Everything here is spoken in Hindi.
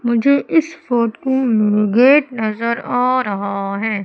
मुझे इस फोटो में गेट नजर आ रहा है।